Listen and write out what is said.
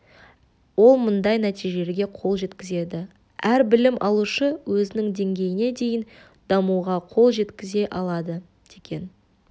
ол мынадай нәтижелерге қол жеткізеді әр білім алушы өзінің деңгейіне дейін дамуға қол жеткізе алады деген